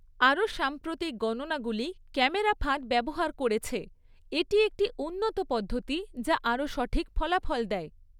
আরোও সাম্প্রতিক গণনাগুলি ক্যামেরা ফাঁদ ব্যবহার করেছে, এটি একটি উন্নত পদ্ধতি যা আরও সঠিক ফলাফল দেয়।